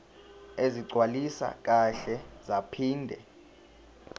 ezigcwaliswe kahle zaphinde